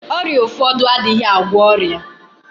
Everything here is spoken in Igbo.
Ọrịa ụfọdụ adịghị agwọ ọrịa.